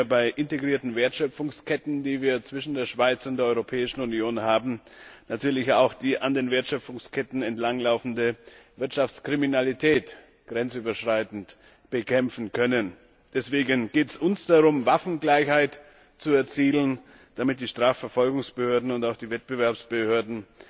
bei integrierten Wertschöpfungsketten, die wir zwischen der Schweiz und der Europäischen Union haben, die an den Wertschöpfungsketten entlang laufende Wirtschaftskriminalität grenzüberschreitend bekämpfen zu können. Deswegen geht es uns darum, Waffengleichheit zu erzielen, damit die Strafverfolgungsbehörden und auch die Wettbewerbsbehörden